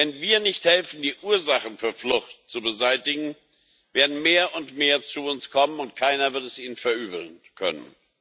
Wenn wir nicht helfen, die Ursachen für Flucht zu beseitigen, werden mehr und mehr zu uns kommen, und keiner wird es ihnen verübeln können.